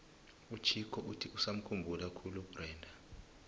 uchicco uthi usamukhumbula khulu ubrenda